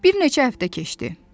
Bir neçə həftə keçdi.